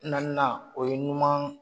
Naaninan o ye ɲuman